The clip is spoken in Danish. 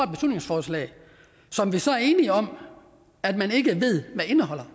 beslutningsforslag som vi så er enige om at man ikke ved hvad indeholder